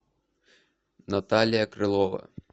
наталья крылова